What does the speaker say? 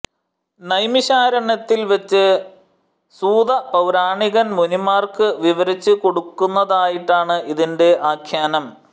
നൈമിശാരണ്യത്തിൽ വച്ച് സൂതപൌരാണികൻ മുനിമാർക്കു വിവരിച്ചു കൊടുക്കുന്നതായിട്ടാണ് ഇതിന്റെ ആഖ്യാനം